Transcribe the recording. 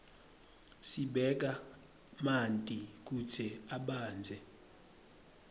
sibeka manti kutsi abandze